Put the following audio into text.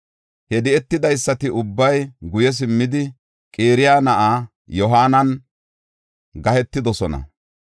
He di7etidaysati ubbay guye simmidi, Qaraya na7aa Yohaananan gahetidosona.